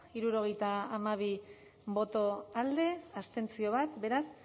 hirurogeita hamabi boto alde bat abstentzio beraz